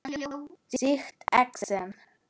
Sýkt exem